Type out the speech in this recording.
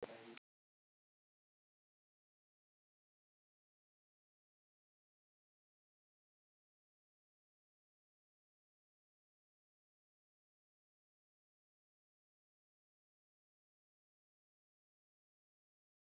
María sagðist vera vön að drekka einn bolla á dag.